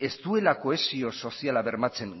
ez duela kohesio soziala bermatzen